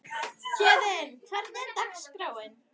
Héðinn, hvernig er dagskráin?